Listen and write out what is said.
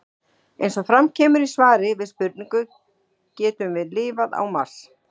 Eins og fram kemur í svari við spurningunni Getum við lifað á Mars?